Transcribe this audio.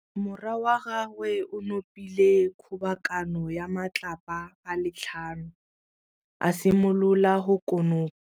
Morwa wa gagwe o nopile kgobokanô ya matlapa a le tlhano, a simolola go konopa.